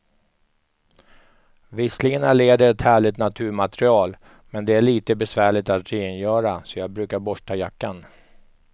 Visserligen är läder ett härligt naturmaterial, men det är lite besvärligt att rengöra, så jag brukar borsta jackan.